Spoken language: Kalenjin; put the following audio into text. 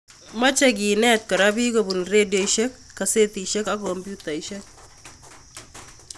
Mochei kenet kora bik kobun rediosiek, gasetisiek ak kompyutaisiek